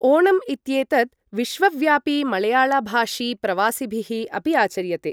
ओणम् इत्येतत् विश्वव्यापि मळयाळभाषि प्रवासिभिः अपि आचर्यते।